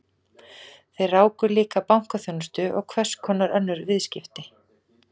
Þeir ráku líka bankaþjónustu og hverskonar önnur viðskipti.